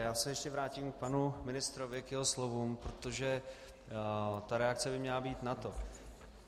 Já se ještě vrátím k panu ministrovi, k jeho slovům, protože ta reakce by měla být na to.